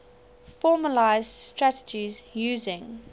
formalised strategies using